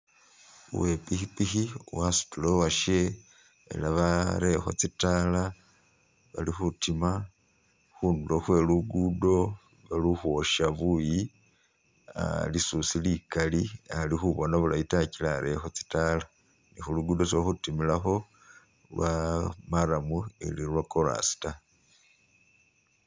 Uwe pikipiki asutile uwashe ela barelekho tsitaala bali khutima khundulo khwe lugudo lili khwosha buuyi lisusi likali alikhubona bulayi ta gila arelekho tsitaala ne khulugud isi ililhutimilakho lwa marram ili lwakolasi ta